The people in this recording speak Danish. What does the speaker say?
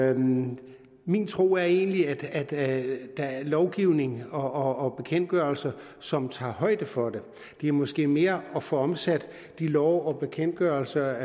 er min min tro er egentlig at at der er lovgivning og bekendtgørelser som tager højde for det det er måske mere at få omsat de love og bekendtgørelser